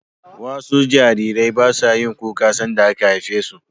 wasu Jarirai basayin kuka sanda aka haifesu